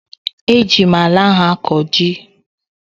Eji m ala ahụ akọ ji